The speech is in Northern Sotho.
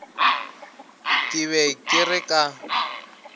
ke be ke re ka